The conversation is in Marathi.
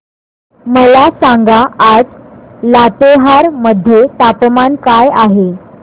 मला सांगा आज लातेहार मध्ये तापमान काय आहे